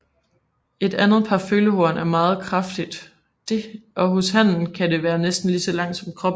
Det andet par følehorn er meget kraftigt og hos hannen kan det være næsten lige langt som kroppen